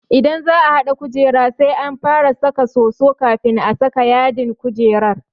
Idan za'a haɗa kujera sai an fara saka soso kafin a saka yadin kujerar.